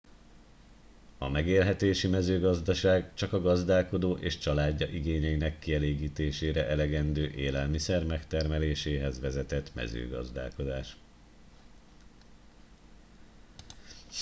a megélhetési mezőgazdaság csak a gazdálkodó és családja igényeinek kielégítésére elegendő élelmiszer megtermeléséhez végzett mezőgazdálkodás